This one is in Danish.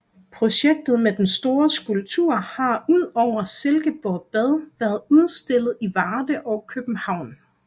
Projektet med den store skulptur har udover Silkeborg Bad været udstillet i Varde og København